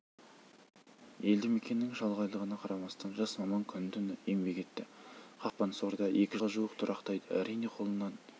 елді мекеннің шалғайлығына қарамастан жас маман күні-түні еңбек етті қақпансорда екі жылға жуық тұрақтайды әрине қолынан